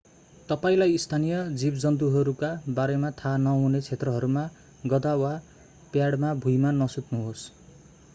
तपाईंलाई स्थानीय जीवजन्तुहरूका बारेमा थाहा नहुने क्षेत्रहरूमा गद्दा वा प्याडमा भुइँमा नसुत्नुहोस्